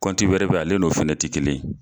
Kɔnti wɛrɛ bɛ ale n'o fɛnɛ tɛ kelen